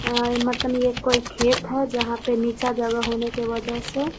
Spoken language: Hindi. अ मतलब ये कोई खेत है जहाँ पे नीचा जगह होने के वजह से --